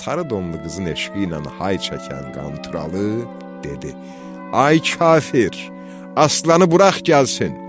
Sarı donlu qızın eşqi ilə hay çəkən Qanturalı dedi: "Ay kafir, aslanı burax gəlsin."